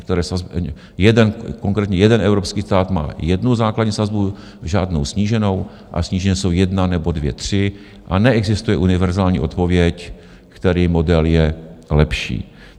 Konkrétně jeden evropský stát má jednu základní sazbu, žádnou sníženou a snížené jsou jedna nebo dvě, tři a neexistuje univerzální odpověď, který model je lepší.